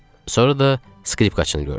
Sonra da skripkaçını gördük.